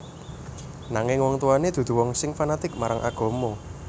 Nanging wong tuwané dudu wong sing fanatik marang agama